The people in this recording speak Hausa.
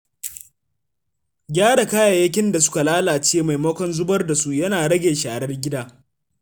Gyara kayayyakin da suka lalace maimakon zubar da su yana rage sharar gida.